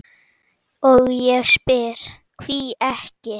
og ég spyr: hví ekki?